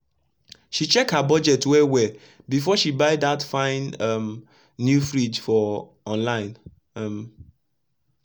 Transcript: she check her budget well well before she buy dat fine um new fridge for online um